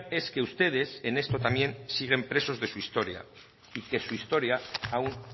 es que ustedes en esto también siguen presos de su historia y que su historia aún